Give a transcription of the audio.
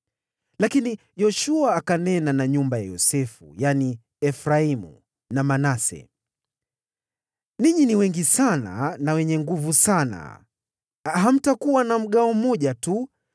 Lakini Yoshua akanena na nyumba ya Yosefu, yaani Efraimu na Manase: “Ninyi ni wengi sana na wenye nguvu sana. Hamtakuwa na mgawo mmoja tu,